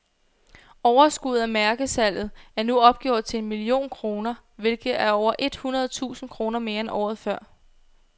Overskuddet af mærkesalget er nu opgjort til en million kroner, hvilket er over et hundrede tusind kroner mere end året før.